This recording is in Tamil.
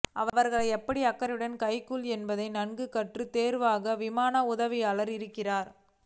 அவர்களை எப்படி அக்கறையுடன் கையாள்வது என்பதை நன்கு கற்று தேர்ந்தவர்களாக விமான உதவியாளர்கள் இருக்கின்றனர்